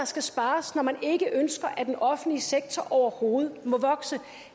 skal spares når man ikke ønsker at den offentlige sektor overhovedet må vokse